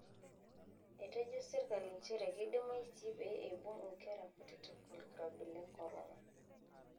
Etejo sirkali nchere keidimayu sii pee eibung nkera kutitik olkirobi le korona.